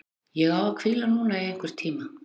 Ég á að hvíla núna í einhvern tíma.